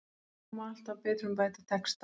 Það má alltaf betrumbæta texta.